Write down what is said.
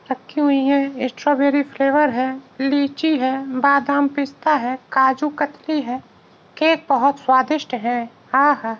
रखी हुई है। स्ट्रॉबेरी फ्लेवर है। लीची है। बादाम पिस्ता है। काजू कतली है। केक बहुत स्वादिष्ट है। आ हा।